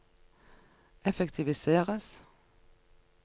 effektiviseres